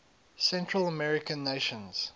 central american nations